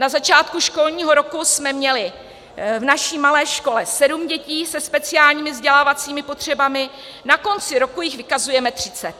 Na začátku školního roku jsme měli v naší malé škole sedm dětí se speciálními vzdělávacími potřebami, na konci roku jich vykazujeme třicet.